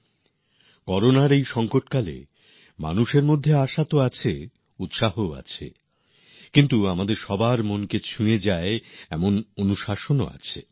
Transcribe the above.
এই করোনা সংকটেও মানুষের মধ্যে উদ্দীপনা তো আছে উৎসাহও আছে কিন্তু আমাদের মনকে ছুঁয়ে যাওয়ার মত শৃঙ্খলাও আছে